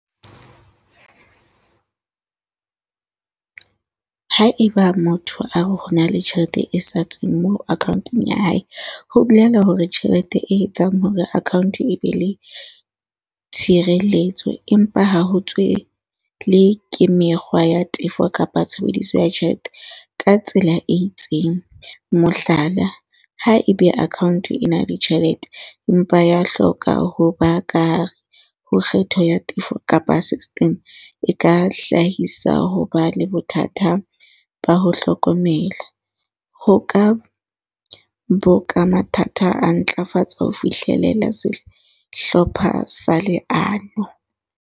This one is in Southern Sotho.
Haeba motho a re ho na le tjhelete e sa tsweng moo account-ong ya hae, ho bolela hore tjhelete e etsang hore account e be le tshireletso, empa ha ho tswe le ke mekgwa ya tefo kapa tshebediso ya tjhelete ka tsela e itseng. Mohlala, ha ebe account e na ditjhelete, empa ya hloka ho ba kare ho kgetho ya tefo kapa system e ka hlahisa ho ba le bothata ba ho hlokomela. Ho ka bo ka mathata a ntlafatso ho fihlelela se hlopha sa leano.